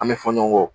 An bɛ fɔ ɲɔgɔn kɔ